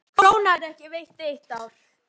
Krónan ekki veikari í eitt ár